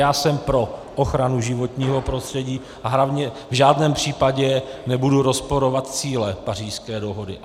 Já jsem pro ochranu životního prostředí a hlavně v žádném případě nebudu rozporovat cíle Pařížské dohody.